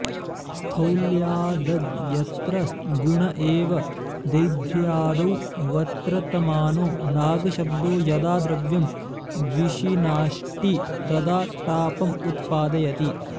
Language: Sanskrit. स्थौल्यादग्यत्र गुण एव दैध्र्यादौ वत्र्तमानो नागशब्दो यदा द्रव्यं विशिनाष्टि तदा टापमुत्पादयति